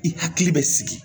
I hakili bɛ sigi